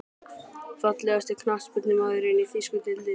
Fallegasti knattspyrnumaðurinn í þýsku deildinni?